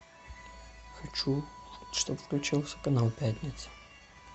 хочу чтоб включился канал пятница